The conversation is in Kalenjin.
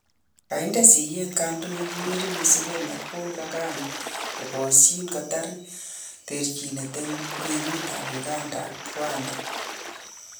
Kainde siyet kandoik Yoweri Museveni ak Paul Kagame kokasyin kotar terchindo en kwenutab Uganda ak Rwanda